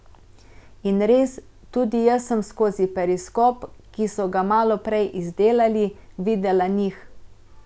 In res, tudi jaz sem skozi periskop, ki so ga malo prej izdelali, videla njih.